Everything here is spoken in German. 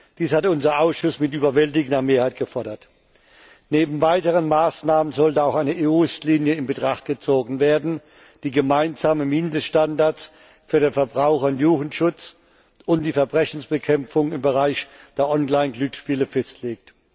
Dies hat unser Ausschuss mit überwältigender Mehrheit gefordert. Neben weiteren Maßnahmen sollte auch eine EU Richtlinie in Betracht gezogen werden, die gemeinsame Mindeststandards für den Verbraucher und Jugendschutz und die Verbrechensbekämpfung im Bereich der Online Glücksspiele festlegt.